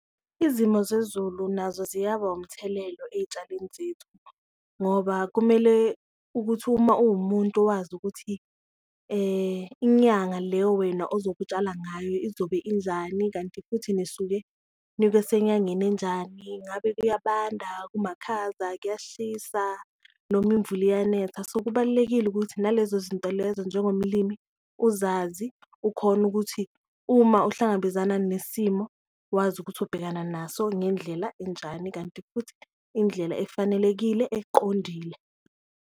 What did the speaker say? Izimo zezulu nazo ziyaba umthelelo eyitshalweni zethu ngoba kumele ukuthi uma uwumuntu owazi ukuthi inyanga le wena ozobe utshala ngayo izobe injani, kanti futhi nisuke nibe senyangeni enjani, ngabe kuyabanda, kumakhaza, kuyashisa noma imvula iyanetha. So, kubalulekile ukuthi nalezo zinto lezo njengomlimi uzazi ukhone ukuthi uma uhlangabezana nesimo wazi ukuthi ubhekana naso ngendlela enjani, kanti futhi indlela efanelekile eqondile.